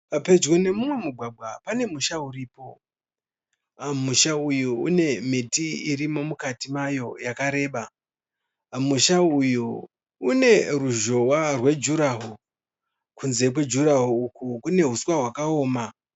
Pedyo nemumwe mugwagwa panemusha uripo ,musha uyu une miti irimo mukatii mayo yakareba, musha uyu uneruzhowa rejurawo kunze kwejurawo uku kune huswa wakaoma.